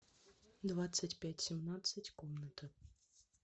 двадцать пять семнадца ь комната